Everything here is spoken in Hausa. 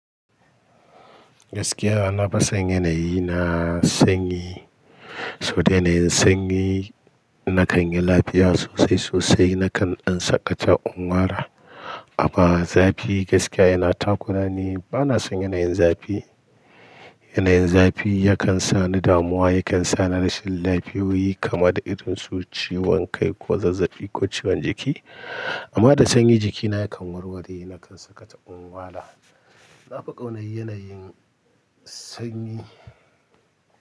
Gaskiya na fason yanayi na sanyi. Saboda yanayin sanyi na kan yi lafiya sosai sosai, na kan ɗan sakata in wara. Amma zafi gaskiya yana takurani, ba na son yanayin zafi. Yanayin zafi yakan sa ni damuwa, yakan sa ni rashin lafiyoyi kama da irin su ciwon kai ko zazzafi ko ciwon jiki. Amma da sanyi jikina yakan warware, na kan sakata in wara. Na fi ƙaunar yanayin sanyi.